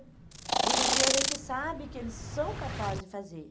Hoje em dia a gente sabe que eles são capazes de fazer.